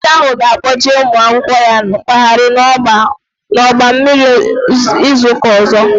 Onye nkụzi ahụ ga kpọje ụmụ akwụkwọ ya mkpaghari n'ọgba mmiri n'izuka ọzọ